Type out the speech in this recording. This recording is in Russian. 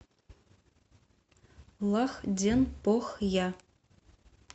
лахденпохья